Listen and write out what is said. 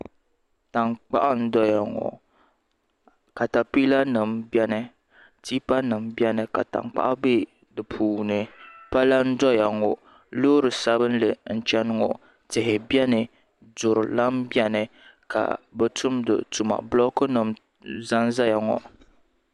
Tankpaɣu n doya ŋɔ katapila nima bɛni tipa nima biɛni ka tankpaɣu bɛ di puuni pala n doya ŋɔ loori sabinli n chɛni ŋɔ tihi biɛni duri lan biɛni ka bi tumidi tuma bulɔk za nzaya ŋɔ.